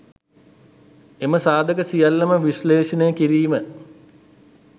එම සාධක සියල්ලම විශ්ලේෂණය කිරීම